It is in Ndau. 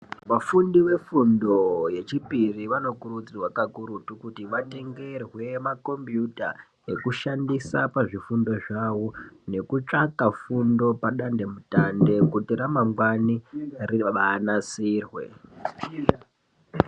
Vafundi vefundo yechipiri vanokurudzirwa kakurutu kuti vatengerwe makombiyuta ekushandisa pazvifundo zvavo nekutsvaka fundo padandemutande kuti ramangwani rinasirwe.